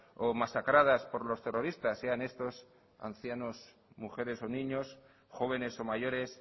o masacradas por los terroristas sean estos ancianos mujeres o niños jóvenes o mayores